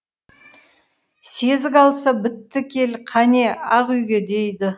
сезік алса бітті кел қане ақ үйге дейді